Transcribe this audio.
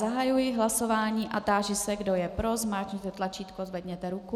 Zahajuji hlasování a táži se, kdo je pro, zmáčkněte tlačítko, zvedněte ruku.